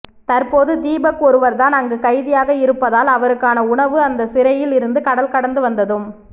தற்போது தீபக் ஒருவர் தான் அங்கு கைதியாக இருப்பதால் அவருக்கான உணவு அந்த சிறையில் இருந்து கடல் கடந்து வந்ததும்